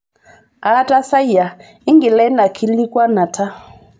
Aatasayia ingila ina kiilikuanata.